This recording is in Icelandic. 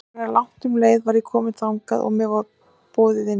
Áður en langt um leið var ég komin þangað og mér var boðið í nefið.